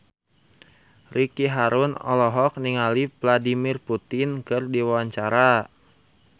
Ricky Harun olohok ningali Vladimir Putin keur diwawancara